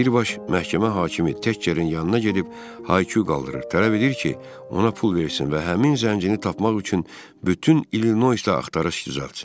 Birbaşa məhkəmə hakimi Təkçərinin yanına gedib haayqırır, tələb edir ki, ona pul versin və həmin zəngini tapmaq üçün bütün İllinoysda axtarış düzəlsin.